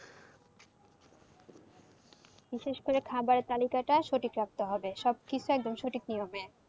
বিশেষ করে খাবার তালিকাটা সঠিক রাখতে হবে, সব কিছু একদম সঠিক নিয়মে।